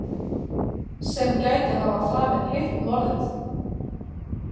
Sem gæti hafa framið hitt morðið.